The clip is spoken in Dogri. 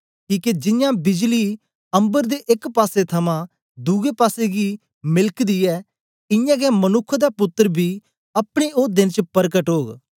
किके जियां बिजली अम्बर दे एक पासे थमां दुए पासेगी मेलकदीयै इयां गै मनुक्ख दा पुत्तर बी अपने ओ देंन च परकट ओग